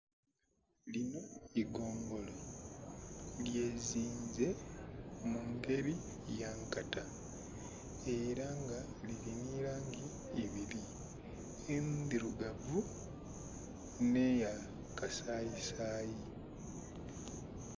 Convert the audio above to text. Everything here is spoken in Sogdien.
Linho igongolo lyezinze mungeri yankata era nga lili nhi langi ibili endhilugavu nhe ya kasayi sayi.